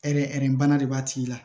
Hɛri bana de b'a tigi la